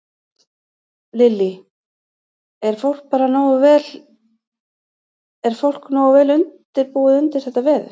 Lillý: Er fólk bara nógu vel, er fólk nógu vel undirbúið undir þetta veður?